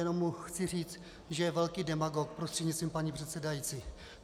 Jenom mu chci říci, že je velký demagog, prostřednictvím paní předsedající.